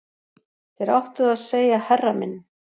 Þér áttuð að segja herra minn